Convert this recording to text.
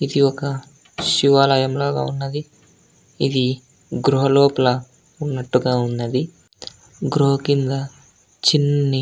ఇది ఒక శివాలయం లాగా ఉన్నదీ ఇది గృహ లోపల ఉన్నట్లుగా ఉన్నదీ గృహ కింద చిన్ని--